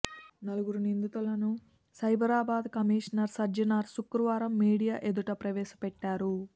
నలుగురు నిందితులను సైబరాబాద్ కమిషనర్ సజ్జనార్ శుక్రవారం మీడియా ఎదుట ప్రవేశపెట్టారు